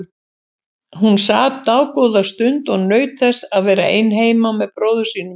Hún sat dágóða stund og naut þess að vera ein heima með bróður sínum.